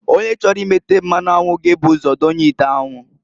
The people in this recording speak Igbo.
Onye chọrọ imeta mmanụ anwụ g'ebu ụzọ donye ite anwu.